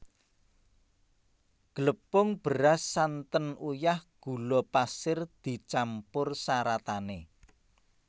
Glepung beras santen uyah gula pasir dicampur saratané